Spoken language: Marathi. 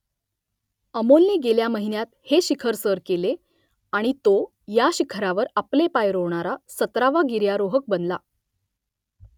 अमोलने गेल्या महिन्यात हे शिखर सर केले आणि तो या शिखरावर आपले पाय रोवणारा सतरावा गिर्यारोहक बनला